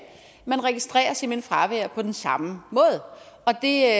man registrerer simpelt hen fravær på den samme måde og det er